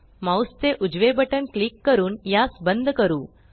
mouse चे उजवे button click करून यास बंद करू